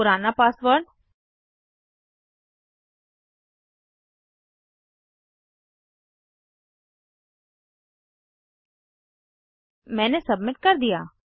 पुराना पासवर्ड मैंने सबमिट कर दिया